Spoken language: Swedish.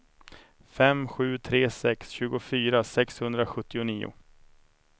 fem sju tre sex tjugofyra sexhundrasjuttionio